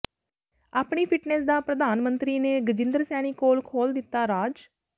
ਆਪਣੀ ਫਿਟਨੈਸ ਦਾ ਪ੍ਰਧਾਨ ਮੰਤਰੀ ਨੇ ਰਜਿੰਦਰ ਸੈਣੀ ਕੋਲ ਖੋਲ੍ਹ ਦਿੱਤਾ ਰਾਜ